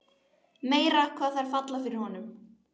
Meira hvað þær falla fyrir honum!